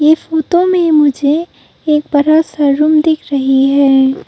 इस फोटो में मुझे एक बड़ा सा रूम दिख रही है।